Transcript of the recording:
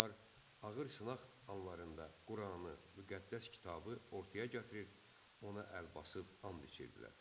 Onlar ağır sınaq anlarında Quranı, müqəddəs kitabı ortaya gətirir, ona əl basıb and içirdilər.